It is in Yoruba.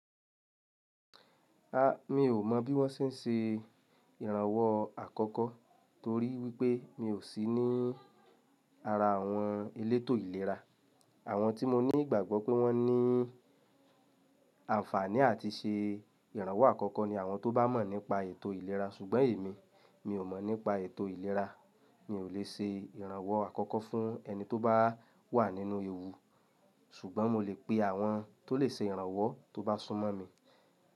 A, mi ò mọ̀ bí wọ́n ṣe n ṣe ìrànwọ́ àkọ́kọ́ torí wípé mi ò sí ní ara àwọn elétò ìlera. Àwọn tí mo ní ìgbàgbọ́ pé wọ́n ní àǹfààní àti ṣe ìrànwọ́ àkọ́kọ́ ni àwọn tó bá mọ̀ nípa ètò ìlera ṣùgbọ́n èmi, mi ò mọ̀ nípa ètò ìlera. Mi ò lè ṣe ìrànwọ́ àkọ́kọ́ fún ẹni tó bá wà nínú ewu ṣùgbọ́n mo lè pe àwọn tó lè ṣe ìrànwọ́ tó bá sún mọ́ mi.